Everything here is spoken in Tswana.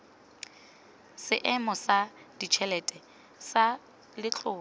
seemo sa ditšhelete sa letlole